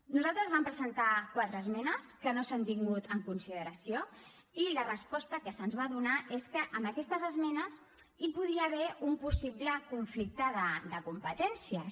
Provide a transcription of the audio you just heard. nosaltres vam presentar quatre esmenes que no s’han tingut en consideració i la resposta que se’ns va donar és que en aquestes esmenes hi podia haver un possible conflicte de competències